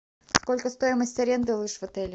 сколько стоимость аренды лыж в отеле